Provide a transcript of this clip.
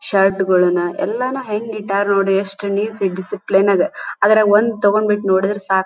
shirt ಗಳನ್ನ ಎಲ್ಲನ ಹೆಂಗ ಇಟ್ಟಾರ ನೋಡ್ರಿ ಎಷ್ಟು ನೀಟ್ ಸಿ ಡಿಸಿಪ್ಲೀನ್ ನಾಗ ಅದರಗ ಒಂದ ತಗೊಂಬಿಟ್ಟ ನೋದ್ದ್ರ ಸಾಕ--